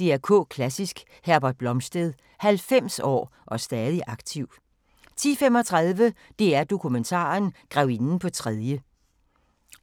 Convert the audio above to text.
DR K Klassisk: Herbert Blomstedt – 90 år og stadig aktiv * 10:35: DR-Dokumentar: Grevinden på tredje